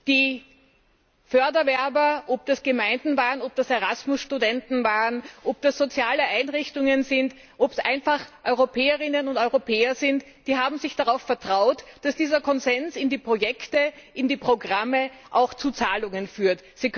Die Förderwerber, ob das Gemeinden waren, ob das Erasmus Studenten waren, ob das soziale Einrichtungen sind, ob es einfach Europäerinnen und Europäer sind, sie haben darauf vertraut, dass dieser Konsens zu Projekten, zu Programmen, auch zu Zahlungen führt.